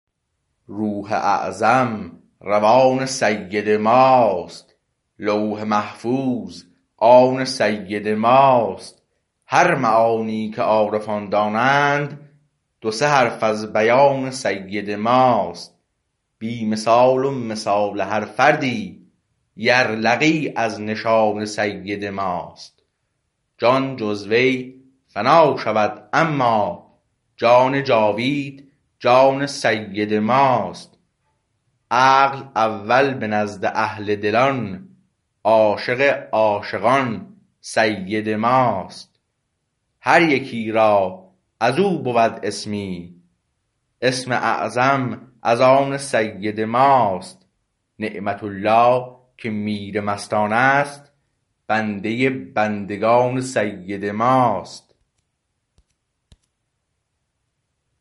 روح اعظم روان سید ماست لوح محفوظ آن سید ماست هر معانی که عارفان دانند دو سه حرف از بیان سید ماست بی مثال و مثال هر فردی یرلغی از نشان سید ماست جان جزوی فنا شود اما جان جاوید جان سید ماست عقل اول به نزد اهل دلان عاشق عاشقان سید ماست هر یکی را از او بود اسمی اسم اعظم از آن سید ماست نعمت الله که میر مستانست بنده بندگان سید ماست